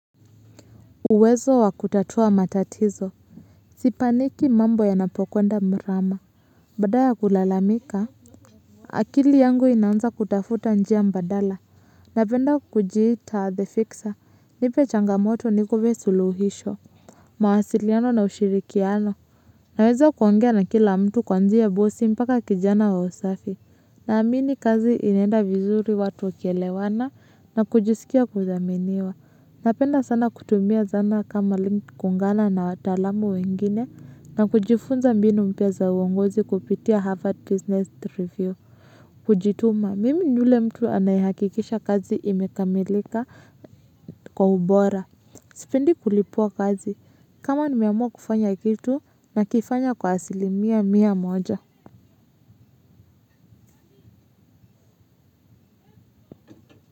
Uwezo wa kutatua matatizo sipaniki mambo ya napokwenda mrama badaya kulalamika akili yangu inaanza kutafuta njia mbadala. Napenda kujita the fixer nipe changamoto nikupe suluhisho. Mawasiliano na ushirikiano naweza kuongea na kila mtu kwanzia bossi mpaka kijana wa usafi. Naamini kazi inenda vizuri watu ukelewana na kujisikia kuzaminiwa. Napenda sana kutumia zana kama link kuungana na watalamu wengine na kujifunza mbinu mpya za uongozi kupitia Harvard Business Review. Kujituma, mimi njule mtu anayehakikisha kazi imekamilika kwa ubora. Sipendi kulipwa kitu kama nimeamua kufanya kazi nakifanya kwa asilimia mia moja.